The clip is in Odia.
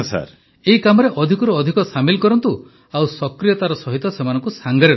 ପ୍ରଧାନମନ୍ତ୍ରୀ ଏହି କାମରେ ଅଧିକରୁ ଅଧିକ ସାମିଲ କରନ୍ତୁ ଆଉ ସକ୍ରିୟତାର ସହିତ ସେମାନଙ୍କୁ ସାଂଗରେ ରଖନ୍ତୁ